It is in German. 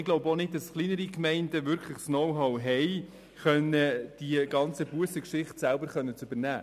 Wir glauben auch nicht, dass kleinere Gemeinden wirklich das Know-how haben, diese ganze Bussengeschichte selber übernehmen zu können.